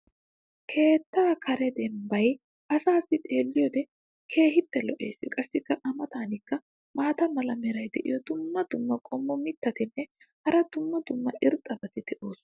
keettaa karee dembbay asaassi xeelliyoode keehi lo"ees. qassi a matankka maata mala meray diyo dumma dumma qommo mitattinne hara dumma dumma irxxabati de'oosona.